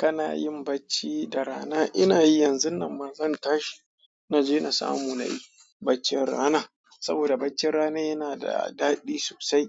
Kana yin bacci da rana? Ina yi yanzun nan, ma zan tashi na je na samu na yi baccin rana. Saboda baccin rana yana da daɗi sosai.